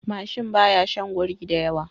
Mashin baya shin guri da yawa